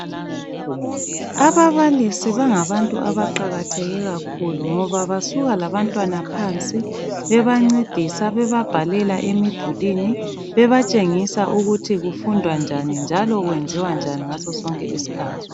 Ababalisi bangabantu abaqakatheke kakhulu ngoba basuka labantwana phansi bebancedisa bebabhalela emidulwini bebatshengisa ukuthi kufundwa njani njalo kwenziwa njani ngaso sonke isikhathi